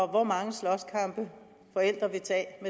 hvor mange slåskampe forældre vil tage